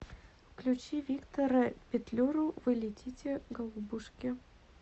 включи виктора петлюру вы летите голубушки